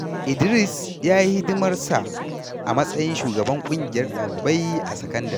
Idris ya yi hidimar sa a matsayin shugaban ƙungiyar ɗalibai a sakandare.